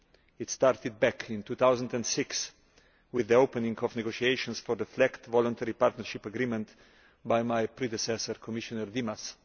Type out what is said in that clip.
It started back in 2006 with the opening of negotiations for the FLEGT Voluntary Partnership Agreement by my predecessor, Commissioner Dimas.